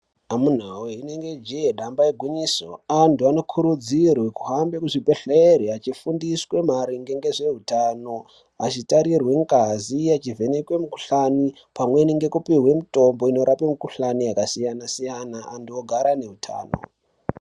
Amunawe inenge jee damba igwinyiso antu anokurudzirwe kuhambe kuchibhedhlere achifundiswe maringe ngezveutano achitarirwe ngazi echivhenekwe mukuhlani pamweni nekupihwe mutombo inorapa mikuhlani yakasiyana siyana antu ogara neutano.